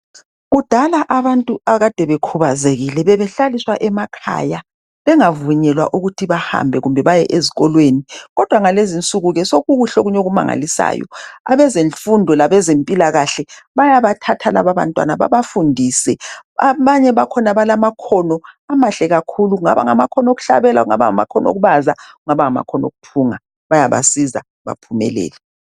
Kudala abantu abakade bekhubazekile, bebehlaliswa emakhaya. Bengavunyelwa ukuthi bahambe, kumbe baye ezikolweni. Kodwa ngalezi insuku ke, sekukuhle okunye okumangalisayo! Abezemfundo labezempilakahle, bayabathatha lababantwana babafundise. Abanye bakhona balamakhono, amahle kakhulu! Kungaba ngamakhono okuhlabela, kungaba ngamakhono okubaza, kungaba ngamakhono okuthunga. Bayabasiza, baphumelele.